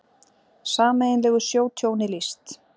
Sameiginlegu sjótjóni lýst